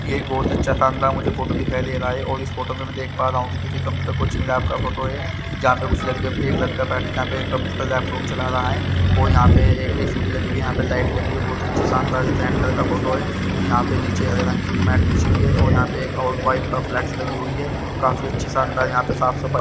ये एक बहोत अच्छे फार्म का मुझे फोटो दिखाई दे रहा है और इस फोटो में देख पा रहा हु किसी कंप्यूटर कोचिंग लैब का फोटो है जहा पे उस लड़के के एक लड़का बैठ कर के कंप्यूटर लैपटॉप चला रहा है और यहाँ पे ये एक सीढ़ी लगी हुई है यहाँ पर लाइटे लगी हुई है बहोत अच्छी अच्छी शानदार ये कैंडल का फोटो है लड़के के एक लड़का बैठ कर के कंप्यूटर लैपटॉप चला रहा है लड़के के एक लड़का बैठ कर के कंप्यूटर लैपटॉप चला रहा है बिछी हुई है और यहाँ पर एक और बाइक ऑफ़ फ्लेक्स लगी हुई है काफी अच्छी शानदार यहाँ पर साफ सफाई--